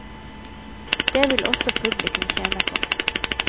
Dét vil også publikum tjene på.